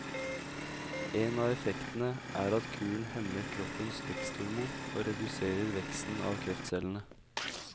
En av effektene er at kuren hemmer kroppens veksthormon og reduserer veksten av kreftcellene.